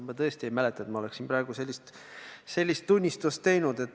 Ma tõesti ei mäleta, et ma oleksin praegu seda tunnistanud.